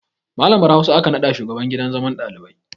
Malamar Hausa aka naɗa shugaban gidan zaman ɗalibai